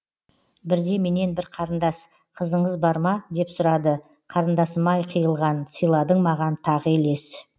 бірде менен бір қарындас қызыңыз бар ма деп сұрады қарындасым ай қиылған сыйладың маған тағы елес